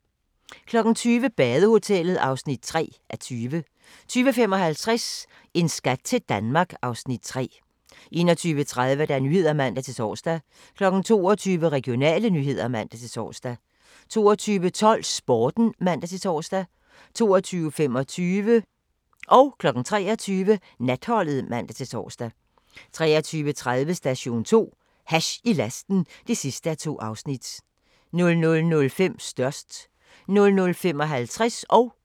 20:00: Badehotellet (3:20) 20:55: En skat til Danmark (Afs. 3) 21:30: Nyhederne (man-tor) 22:00: Regionale nyheder (man-tor) 22:12: Sporten (man-tor) 22:25: Natholdet (man-tor) 23:00: Natholdet (man-tor) 23:30: Station 2: Hash i lasten (2:2) 00:05: Størst 00:55: Grænsepatruljen (man-tor)